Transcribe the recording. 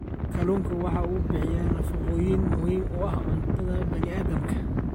Kalluunku waxa uu bixiyaa nafaqooyin muhiim u ah cuntada bani aadamka.